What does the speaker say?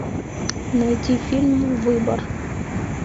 найти фильм выбор